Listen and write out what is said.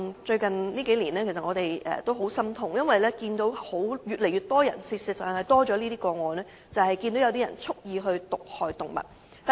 最近數年令我們很心痛，因為發生越來越多有人蓄意毒害動物的個案。